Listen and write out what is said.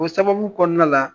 O sababu kɔnɔna la